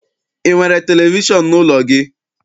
I nwere televishọn n'ụlọ gị?